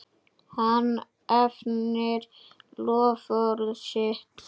Hann efnir loforð sitt.